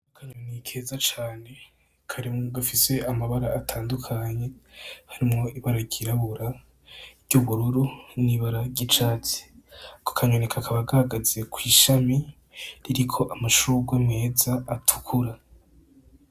Akanyoni keza cane gafise amabara atandukanye harimwo ibara ryirabura, iry’ubururu, niryicatsi kakaba gahagaze kwishami ririko amashurwe meza atukura.